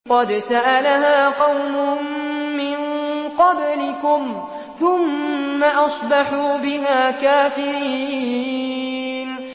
قَدْ سَأَلَهَا قَوْمٌ مِّن قَبْلِكُمْ ثُمَّ أَصْبَحُوا بِهَا كَافِرِينَ